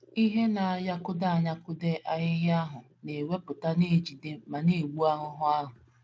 Ihe na - anyakụdo anyakụdo ahịhịa ahụ na - ewepụta na - ejide ma na - egbu erùrù ahụ.